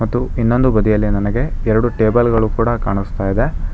ಮತ್ತು ಇನ್ನೊಂದು ಬದಿಯಲ್ಲಿ ನನಗೆ ಎರಡು ಟೇಬಲ್ ಗಳು ಕೂಡ ಕಾಣಿಸ್ತಾ ಇದೆ.